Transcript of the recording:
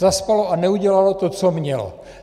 Zaspalo a neudělalo to, co mělo.